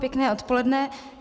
Pěkné odpoledne.